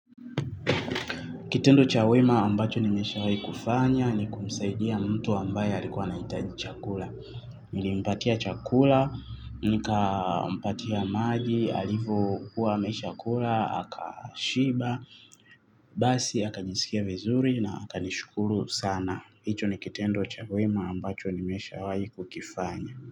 Kitendo cha wema ambacho nineshawai kufanya ni kumsaidia mtu ambayo alikuwa anahitaji chakula. Nilimpatia chakula, nikampatia maji alivyokuwa ameshakula akashiba basi akajiskia vizuri na akanishukuru sana. Hicho ni kitendo cha wema ambacho nimeshawahi kukifanya.